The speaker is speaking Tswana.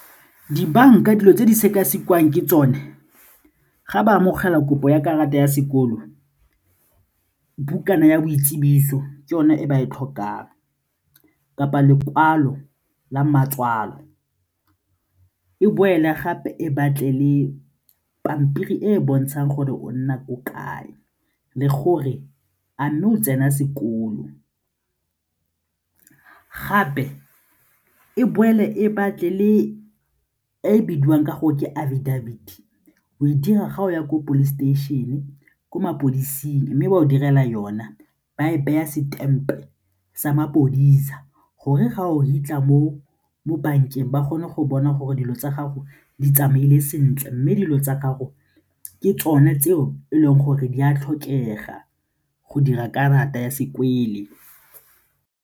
Dibanka, dilo tse di sekasekiwang ke tsone, ga ba amogela kopo ya karata ya sekolo, bukana ya boitsibiso tsone e ba e tlhokang kapa lekwalo la matswalo e boela gape e batle le pampiri e e bontshang gore o nna ko kae le gore a mme o tsena sekolo. Gape, e boele e batle le e bidiwang ka gore ke affidavit o e dira ga o ya ko police station ko mapodisi mme ba o direla yona ba e beya stamp sa mapodisa gore ga o fitlha mo bankeng ba kgone go bona gore dilo tsa gago di tsamaile sentle mme dilo tsa gago ke tsone tseo e leng gore di a tlhokega go dira karata ya .